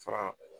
Fara